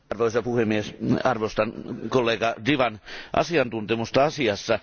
Arvoisa puhemies, arvostan kollega Devan asiantuntemusta asiassa.